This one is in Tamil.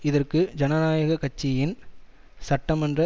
இதற்கு ஜனநாயக கட்சியின் சட்டமன்ற